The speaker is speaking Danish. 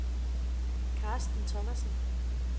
Karsten Thomasen